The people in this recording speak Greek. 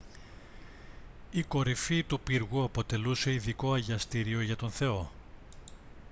η κορυφή του πύργου αποτελούσε ειδικό αγιαστήριο για τον θεό